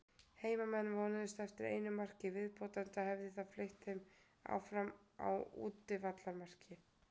Heimamenn vonuðust eftir einu marki í viðbót enda hefði það fleytt þeim áfram á útivallarmarki.